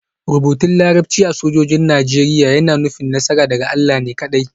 Rubutun Larabci a lambar sojojin Najeriya yana nufin; Nasara daga Allah ne kaɗai